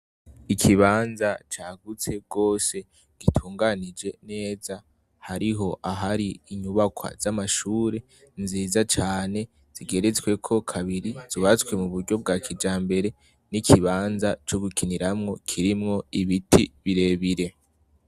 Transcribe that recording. Ikibanza cagutse gose gitunganije neza hariho ahari inyubakwa z'amashure nziza cane zigeretsweko kabiri zubatswe mu buryo bwa kijambere n'ikibanza co gukiniramwo kirimwo ibiti birebire.